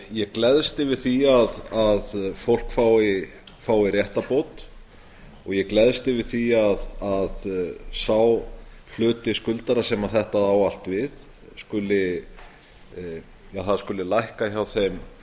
ég gleðst yfir því að fólk fái réttarbót og ég gleðst yfir því að sá hluti skuldara sem þetta á allt við það skuli lækka hjá þeim